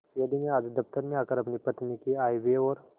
यदि मैं आज दफ्तर में आकर अपनी पत्नी के आयव्यय और